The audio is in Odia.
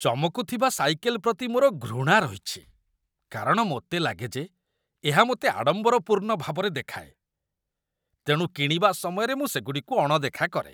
ଚମକୁଥିବା ସାଇକେଲ୍ ପ୍ରତି ମୋର ଘୃଣା ରହିଛି କାରଣ ମୋତେ ଲାଗେ ଯେ ଏହା ମୋତେ ଆଡ଼ମ୍ବରପୂର୍ଣ୍ଣ ଭାବରେ ଦେଖାଏ, ତେଣୁ କିଣିବା ସମୟରେ ମୁଁ ସେଗୁଡ଼ିକୁ ଅଣଦେଖା କରେ